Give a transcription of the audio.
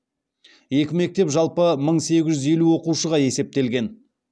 екі мектеп жалпы мың сегіз жүз елу оқушыға есептелген